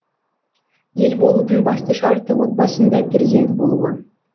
ел болудың басты шарты отбасында перзент болуы